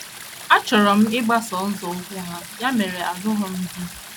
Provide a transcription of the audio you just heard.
Achọrọ m ịgbaso nzọụkwụ ha, ya mere alụrụ m di.